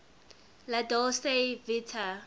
la dolce vita